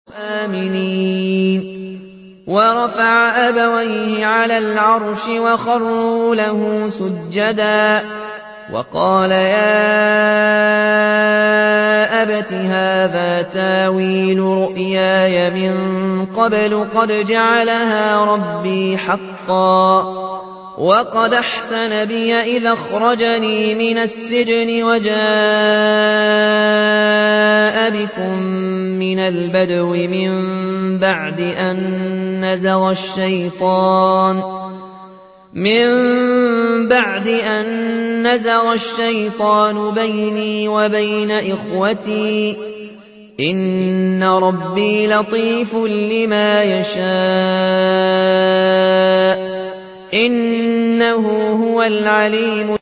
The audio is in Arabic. وَرَفَعَ أَبَوَيْهِ عَلَى الْعَرْشِ وَخَرُّوا لَهُ سُجَّدًا ۖ وَقَالَ يَا أَبَتِ هَٰذَا تَأْوِيلُ رُؤْيَايَ مِن قَبْلُ قَدْ جَعَلَهَا رَبِّي حَقًّا ۖ وَقَدْ أَحْسَنَ بِي إِذْ أَخْرَجَنِي مِنَ السِّجْنِ وَجَاءَ بِكُم مِّنَ الْبَدْوِ مِن بَعْدِ أَن نَّزَغَ الشَّيْطَانُ بَيْنِي وَبَيْنَ إِخْوَتِي ۚ إِنَّ رَبِّي لَطِيفٌ لِّمَا يَشَاءُ ۚ إِنَّهُ هُوَ الْعَلِيمُ الْحَكِيمُ